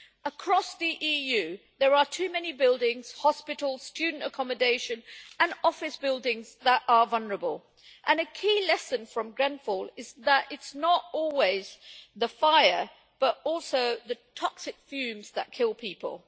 Across the EU there are too many buildings hospitals, student accommodation and office buildings that are vulnerable, and a key lesson from Grenfell is that it is not always the fire, but also the toxic fumes that kill people.